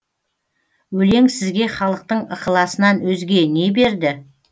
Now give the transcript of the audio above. өлең сізге халықтың ықыласынан өзге не берді